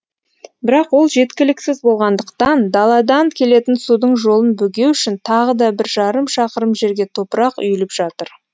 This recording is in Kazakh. бірақ ол жеткіліксіз болғандықтан даладан келетін судың жолын бөгеу үшін тағы да бір жарым шақырым жерге топырақ үйіліп жатыр